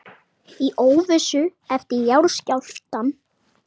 Í óvissu eftir jarðskjálftann